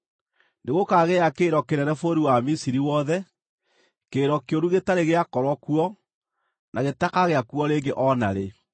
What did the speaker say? Nĩgũkaagĩa kĩrĩro kĩnene bũrũri wa Misiri wothe, kĩrĩro kĩũru gĩtarĩ gĩakorwo kuo, na gĩtakagĩa kuo rĩngĩ o na rĩ.